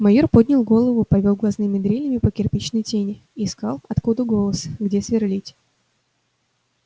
майор поднял голову повёл глазными дрелями по кирпичной тени искал откуда голос где сверлить